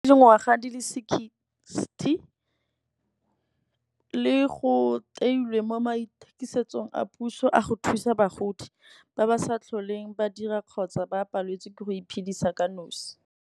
Dingwaga di le sixty le go teilwe mo mathekisetsong a puso, a go thusa bagodi ba ba sa tlholeng ba dira, kgotsa ba paletswe ke go iphedisa ka nosi.